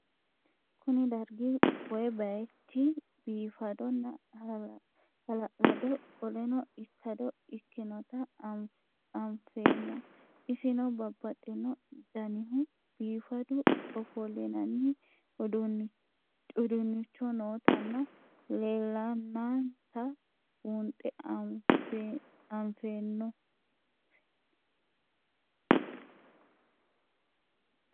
Kuni dargi woye bayich bifadona hala'lado qoleno ikado ikinota anfemo isino babaxino danihu bifadu ofolinani udunicho nootana leelanta bunxe anfeno?